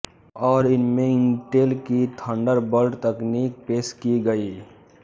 और इनमें इंटेल की थंडरबॉल्ट तकनीक पेश की गई